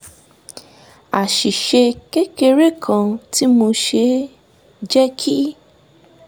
àṣìṣe kékeré kan tí mo ṣe jẹ́ kí